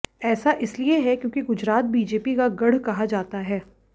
ऐसा इसलिए है क्योंकि गुजरात बीजेपी का गढ़ कहा जाता है